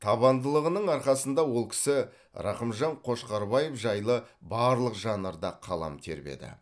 табандылығының арқасында ол кісі рақымжан қошқарбаев жайлы барлық жанрда қалам тербеді